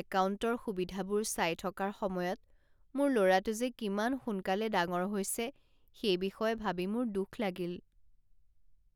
একাউণ্টৰ সুবিধাবোৰ চাই থকাৰ সময়ত মোৰ ল'ৰাটো যে কিমান সোনকালে ডাঙৰ হৈছে সেই বিষয়ে ভাবি মোৰ দুখ লাগিল।